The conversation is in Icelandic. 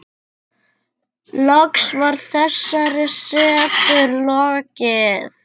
Loks var þessari setu lokið.